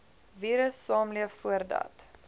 virus saamleef voordat